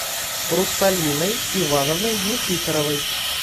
русалиной ивановной никифоровой